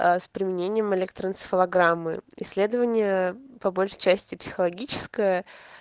с применением электроэнцефалограммы исследование по большей части психологическое